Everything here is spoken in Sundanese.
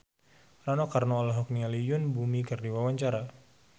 Rano Karno olohok ningali Yoon Bomi keur diwawancara